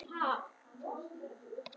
olía er líka stundum mæld í tonnum